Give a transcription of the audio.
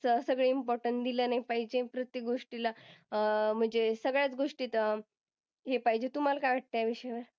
च सगळं importance दिलं नाही पाहिजे प्रत्येक गोष्टीला. अं म्हणजे सगळ्यात गोष्टीत हे पाहिजे. तुम्हला काय वाटतं या विषयावर?